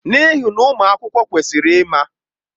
N'ihi na ụmụ akwụkwọ kwesịrị ịma.